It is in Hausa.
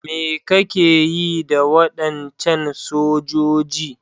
Me kake yi da wadancan sojoji?